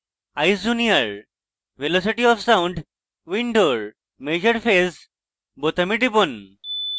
eyes junior: velocity of sound window measure phase বোতামে টিপুন